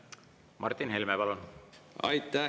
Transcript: Martin Helme, palun!